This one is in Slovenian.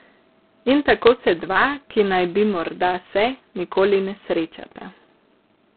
In tako se dva, ki naj bi morda se, nikoli ne srečata.